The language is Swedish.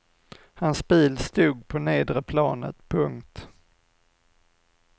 Hans bil stod på nedre planet. punkt